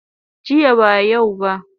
Jiya ba yau ba